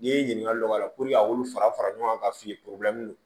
N'i ye ɲininkali dɔ k'a la a b'olu fara fara ɲɔgɔn kan ka f'i ye